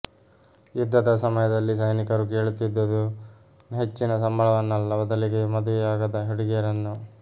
ಯುದ್ಧದ ಸಮಯದಲ್ಲಿ ಸೈನಿಕರು ಕೇಳುತ್ತಿದ್ದದು ಹೆಚ್ಚಿನ ಸಂಬಳವನ್ನಲ್ಲ ಬದಲಿಗೆ ಮದುವೆಯಾಗದ ಹುಡುಗಿಯರನ್ನು